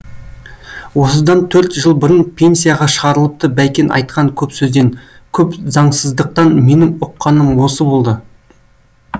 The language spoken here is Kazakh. осыдан төрт жыл бұрын пенсияға шығарылыпты бәйкен айтқан көп сөзден көп заңсыздықтан менің ұққаным осы болды